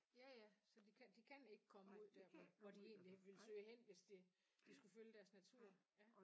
Ja ja så de kan de kan ikke komme ud der hvor hvor de egentlig ville søge hen hvis det de skulle følge deres natur ja